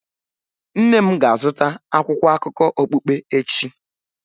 Nne m ga-azụta akwụkwọ akụkọ okpukpe echi.